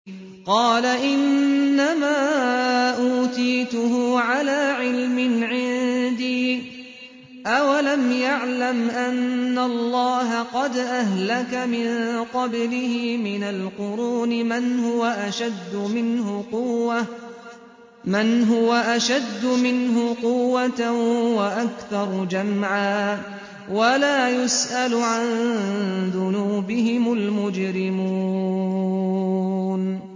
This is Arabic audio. قَالَ إِنَّمَا أُوتِيتُهُ عَلَىٰ عِلْمٍ عِندِي ۚ أَوَلَمْ يَعْلَمْ أَنَّ اللَّهَ قَدْ أَهْلَكَ مِن قَبْلِهِ مِنَ الْقُرُونِ مَنْ هُوَ أَشَدُّ مِنْهُ قُوَّةً وَأَكْثَرُ جَمْعًا ۚ وَلَا يُسْأَلُ عَن ذُنُوبِهِمُ الْمُجْرِمُونَ